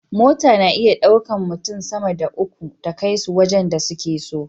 Mota na iya ɗaukan mutun sama da uku ta kai su wajan da suke so